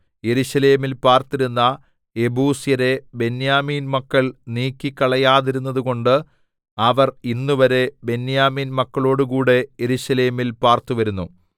യെരൂശലേമിൽ പാർത്തിരുന്ന യെബൂസ്യരെ ബെന്യാമീൻ മക്കൾ നീക്കിക്കളയാതിരുന്നതുകൊണ്ട് അവർ ഇന്നുവരെ ബെന്യാമീൻ മക്കളോടുകൂടെ യെരൂശലേമിൽ പാർത്തു വരുന്നു